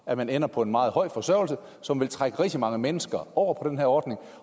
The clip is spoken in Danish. at man ender på en meget høj forsørgelse som vil trække rigtig mange mennesker over på den her ordning